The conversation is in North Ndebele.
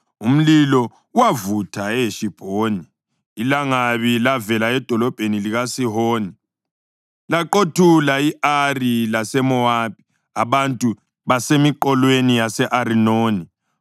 Umlilo wavutha eHeshibhoni ilangabi lavela edolobheni likaSihoni. Laqothula i-Ari laseMowabi, abantu basemiqolweni yase-Arinoni.